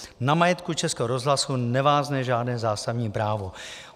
Na majetku Českého rozhlasu nevázne žádné zásadní právo.